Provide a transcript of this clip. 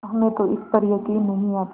हमें तो इस पर यकीन नहीं आता